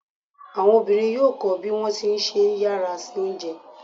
Àwọn obìnrin yóò kọ bí wọ́n ti ṣe ń yára se oúnjẹ.